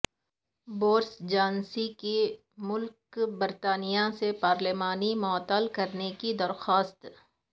Boris Johnson کی ملکہ برطانیہ سے پارلیمان معطل کرنے کی درخواست